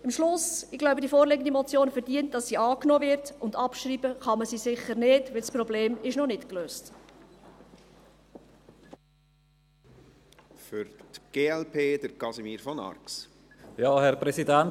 Zum Schluss: Ich glaube, die vorliegende Motion verdient es, dass sie angenommen wird, und abschreiben kann man sie sicher nicht, weil das Problem noch nicht gelöst ist.